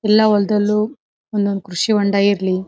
ಎಲ್ಲಾ ಹೊಲ್ದಲ್ಲು ಒಂದು ಒಂದು ಕೃಷಿ ಹೊಂಡ ಇರ್ಲಿ.